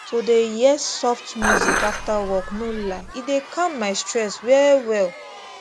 to dey hear soft music after work no lie e dey calm my stress well well